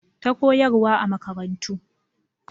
Ta koyarwa a makarantu